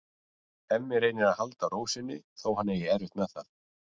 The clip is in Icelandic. Hemmi reynir að halda ró sinni þó að hann eigi erfitt með það.